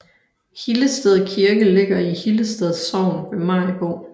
Hillested Kirke ligger i Hillested Sogn ved Maribo